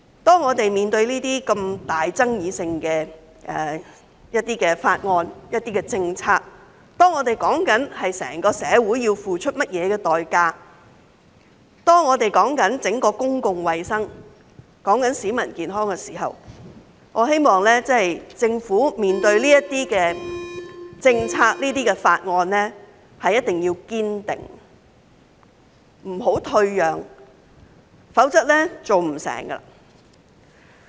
當我們面對爭議如此重大的法案和政策時，當我們討論的是關乎整個社會要付出甚麼代價，是關乎整體公共衞生及市民的健康的時候，我希望政府在處理這些政策和法案上，一定要堅定，不要退讓，否則是做不成的。